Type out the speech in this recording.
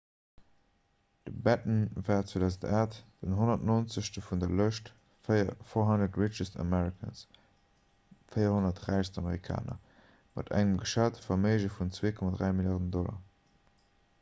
de batten war 2008 den 190. vun der lëscht 400 richest americans 400 räichst amerikaner mat engem geschate verméige vun 2,3 milliarden dollar